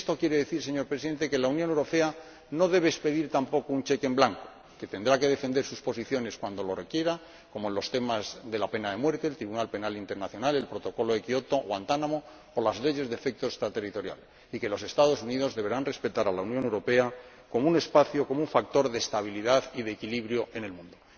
Y esto quiere decir, señor Presidente, que la Unión Europea no debe expedir tampoco un cheque en blanco, que tendrá que defender sus posiciones cuando lo requiera, como en los temas de la pena de muerte, el Tribunal Penal Internacional, el Protocolo de Kyoto, Guantánamo o las leyes de efecto extraterritorial, y que los Estados Unidos deberán respetar a la Unión Europea como un factor de estabilidad y de equilibrio en el mundo.